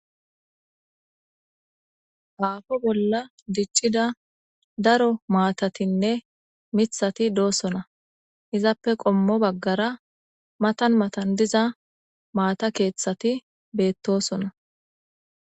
Aafo bolla diccida daro maatatinne mithati doosona izappe qommo baggara matan matan diza maata keeththati beettosona